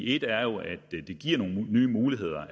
et er jo at det giver nogle nye muligheder